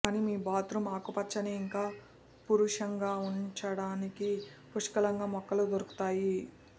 కానీ మీ బాత్రూం ఆకుపచ్చని ఇంకా పురుషంగా ఉంచడానికి పుష్కలంగా మొక్కలు దొరుకుతాయి